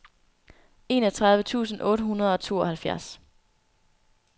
enogtredive tusind otte hundrede og tooghalvfjerds